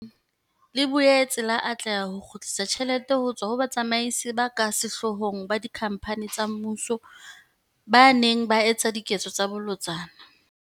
Lekgotlana lena le Ikgethileng, le boetse la atleha ho kgutlisa tjhelete ho tswa ho batsamaisi ba ka sehloohong ba dikhamphane tsa mmuso ba neng ba etsa diketso tsa bolotsana.